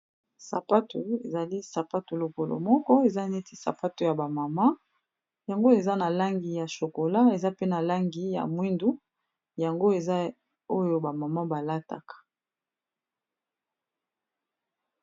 Sapato ezali sapato lokolo moko eza neti sapato ya bamama yango eza na langi ya shokola eza pe na langi ya mwindu yango eza oyo bamama balataka.